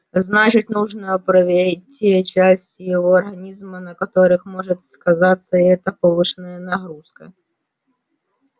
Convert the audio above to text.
значит нужно проверить те части его организма на которых может сказаться эта повышенная нагрузка